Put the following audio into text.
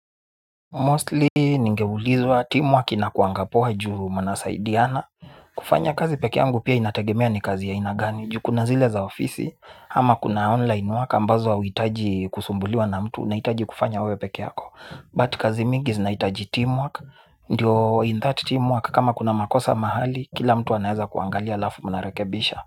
Mostly, ningeulizwa, teamwork inakuanga poa juu mnasaidiana. Kufanya kazi peke yangu pia inategemea ni kazi aina gani. Juu kuna zile za ofisi, ama kuna online work ambazo auhitaji kusumbuliwa na mtu. Unahitaji kufanya wewe peke yako But kazi mingi zinahitaji teamwork. Ndio in that teamwork, kama kuna makosa mahali, kila mtu anaweza kuangalia alafu mnarekebisha.